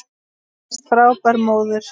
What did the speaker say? Þú varst frábær móðir.